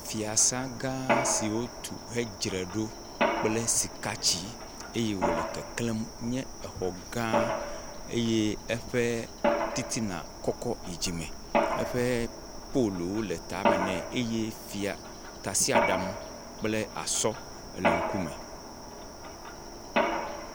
Fiasã gã siwo tu hedzra ɖo kple sika tsi eye wole keklẽm nye exɔ gã eye eƒe titan kɔkɔ yi dzime, eƒe poluwo le tame ne eye fia..tasiadamwo kple asɔ le eŋkume.